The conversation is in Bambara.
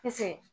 Pese